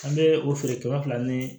An bɛ o feere kɛmɛ fila ni